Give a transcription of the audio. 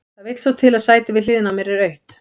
Það vill svo til að sætið við hliðina á mér er autt.